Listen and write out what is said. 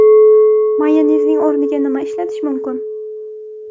Mayonezning o‘rniga nima ishlatish mumkin?